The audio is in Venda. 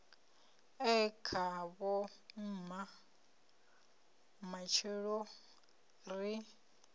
e khavho mma matshelo ri